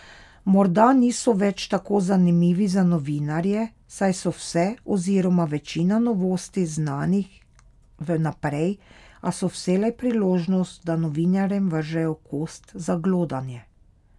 Morda niso več tako zanimivi za novinarje, saj so vse, oziroma večina novosti znanih v naprej, a so vselej priložnost, da novinarjem vržejo kost za glodanje.